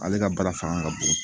Ale ka baara fanga ka bon